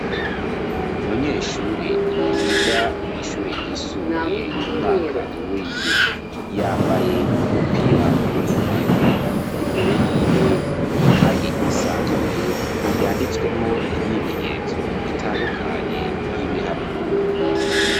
Umunyeshure yiga mw'ishure ryisumbuye umwaka w'indwi yambaye umupira wimbeho imbere yiwe ikaye isanzuruye yanditswemwo imyimenyerezo itandukanye y'ibiharuro.